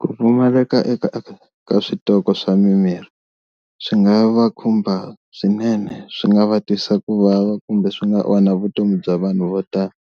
Ku pfumaleka eka ka switoko swa mimirhi swi nga va khumba swinene swi nga va twisa ku vava kumbe swi nga onha vutomi bya vanhu vo tala